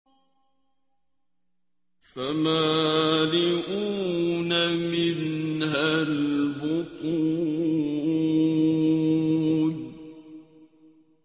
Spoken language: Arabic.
فَمَالِئُونَ مِنْهَا الْبُطُونَ